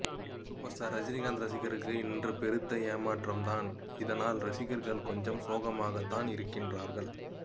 super star Rajinikanth ரசிகர்களுக்கு இன்று பெருத்த ஏமாற்றம் தான் இதனால் ரசிகர்கள் கொஞ்சம் சோகமாக தான் இருக்கிறார்கள்